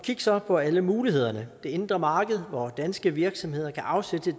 så på alle mulighederne det indre marked hvor danske virksomheder kan afsætte